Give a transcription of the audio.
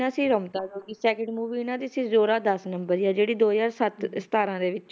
ਨਾਂ ਸੀ Ramta Jogi second movie ਇਹਨਾਂ ਦੀ ਸੀ ਜ਼ੋਰਾ ਦਸ ਨੰਬਰੀ ਆ ਜਿਹੜੀ ਦੋ ਹਜ਼ਾਰ ਸੱਤ ਸਤਾਰਾਂ ਦੇ ਵਿੱਚ,